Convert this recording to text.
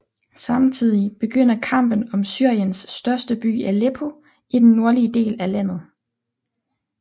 Samtidig begynder kampen om Syriens største by Aleppo i den nordlige del af landet